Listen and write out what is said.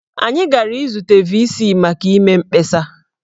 Anyị gara izute VC maka ịme mkpesa.